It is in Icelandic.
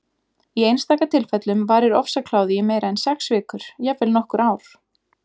Í einstaka tilfellum varir ofsakláði í meira en sex vikur, jafnvel nokkur ár.